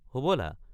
হবলা।